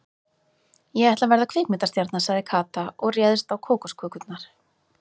Ég ætla að verða kvikmyndastjarna sagði Kata og réðst á kókoskökurnar.